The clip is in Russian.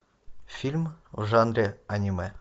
фильм в жанре аниме